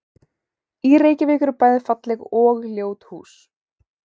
Í Reykjavík eru bæði falleg og ljót hús.